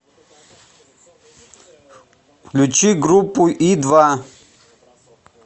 включи группу и два